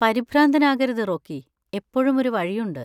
പരിഭ്രാന്തനാകരുത്, Rocky. എപ്പോഴും ഒരു വഴിയുണ്ട്.